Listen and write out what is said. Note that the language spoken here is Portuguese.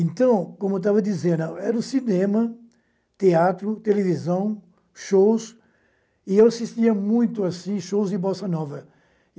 Então, como estava dizendo, era o cinema, teatro, televisão, shows, e eu assistia muito assim shows de Bossa Nova.